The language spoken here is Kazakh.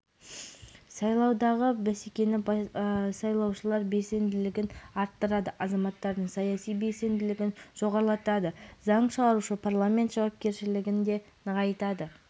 ең алдымен жауапкершілік деген сөз ал саяси сипаттағы өкілеттіктер парламентке беріледі бұл деген менің ойымша